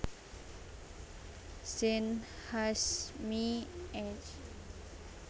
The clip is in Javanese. Zein Hasjmy Ec